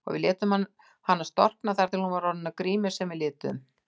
Við létum hana storkna þar til hún var orðin að grímu sem við lituðum.